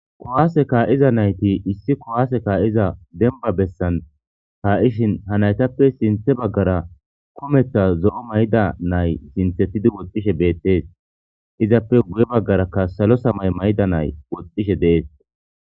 Kowaaseka iza nayti issi kowaaseka7iza denba bessan kaa,ishin ha naytappe sinthe baggara kometha zo,o mayda nay sinthetidi woxxishe beettees izappe guye baggarakka salo samay mayda nay woxxishe deees.